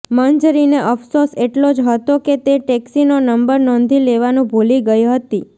મંજરીને અફસોસ એટલો જ હતો કે તે ટેક્સીનો નંબર નોંધી લેવાનું ભૂલી ગઈ હતી